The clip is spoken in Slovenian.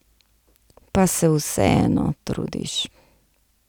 Pa se vseeno trudiš.